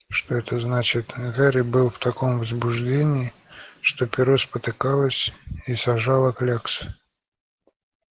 что это значит гарри был в таком возбуждении что перо спотыкалось и сажало кляксы